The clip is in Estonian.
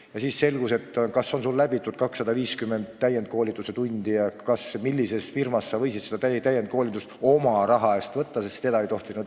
Ja siis selgus, kas on sul läbitud 250 täienduskoolituse tundi ja kas sa tellisid seda täienduskoolitust oma raha eest õigest firmast.